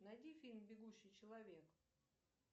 найди фильм бегущий человек